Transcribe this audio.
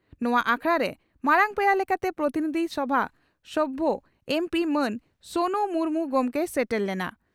ᱱᱚᱣᱟ ᱟᱠᱷᱲᱟᱨᱮ ᱢᱟᱨᱟᱝ ᱯᱮᱲᱟ ᱞᱮᱠᱟᱛᱮ ᱯᱨᱚᱛᱤᱱᱤᱫᱷᱤ ᱥᱚᱵᱷᱟ ᱥᱚᱵᱷᱭᱚ (ᱮᱢᱹᱯᱤᱹ) ᱢᱟᱱ ᱥᱳᱱᱩ ᱢᱩᱨᱢᱩ ᱜᱚᱢᱠᱮᱭ ᱥᱮᱴᱮᱨ ᱞᱮᱱᱟ ᱾